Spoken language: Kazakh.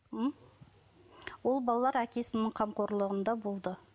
м ол балалар әкесінің қамқорлығында болды